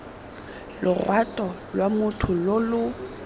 lorato lwa motho lo lo